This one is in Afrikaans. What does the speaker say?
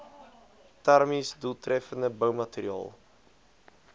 termies doeltreffende boumateriaal